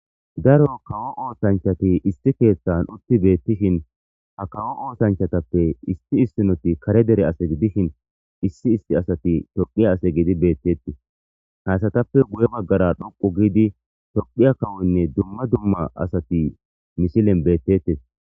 daro kawo ootanchati isti keeththan utti beettishin ha kawo ootanchatappe isti issinoti kare dere asati dishin issi isti asati toqiya ase giidi beettettii haysatappe guye baggara dhoqu giidi tophiya kawonne dumma dumma asati misilen beettettes